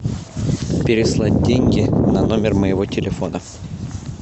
переслать деньги на номер моего телефона